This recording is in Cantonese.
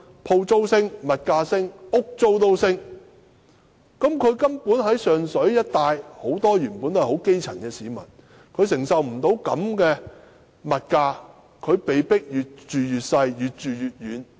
鋪租、物價和房屋租金全部上升，而上水一帶的居民多是基層市民，根本無法承受這種物價水平，被迫越住越小、越住越遠。